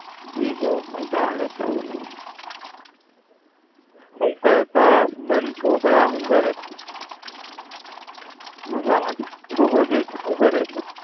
બીજું હું ચાલે છે? હું કરે તારા Husband છોકરા હુ કરે? મજામાં છે?